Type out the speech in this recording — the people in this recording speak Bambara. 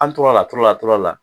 An tor'a la, tor'a la tura la